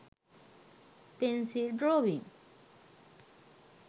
pencil drawing